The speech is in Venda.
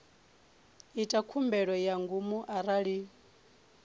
ita khumbelo ya ngomu arali